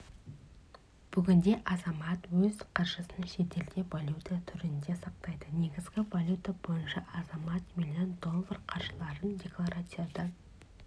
бүгінде азамат өз қаржысын шетелде валюта түрінде сақтайды негізгі валюта бойынша азамат миллион доллар қаржыларын декларациядан